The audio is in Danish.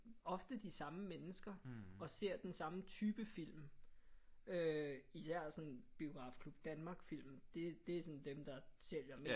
Ofte de samme mennesker og ser den samme type film øh især sådan Biografklub Danmark film det det er sådan dem der sælger mest